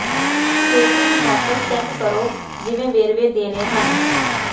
ਛੇਤੀ ਹੀ ਵਾਪਸ ਚੈੱਕ ਕਰੋ ਜਿਵੇਂ ਵੇਰਵੇ ਦੇਣੇ ਹਨ